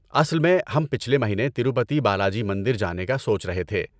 اصل میں ہم پچھلے مہینے تروپتی بالاجی مندر جانے کا سوچ رہے تھے۔